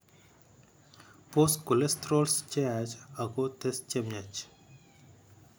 Boose cholestorols cheyaach ako tes chemiach